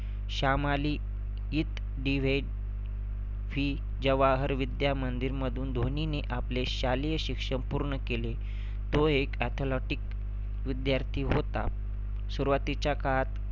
श्यामाली इत DAV जवाहर विद्या मंदिरमधुन धोनीने आपले शालेय शिक्षण पूर्ण केले. तो एक athletic विद्यार्थी होता. सुरुवातीच्या काळात